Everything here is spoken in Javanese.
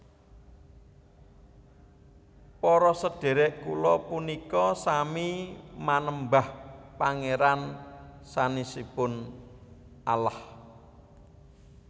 Para sedherek kula punika sami manembah Pangeran sanesipun Allah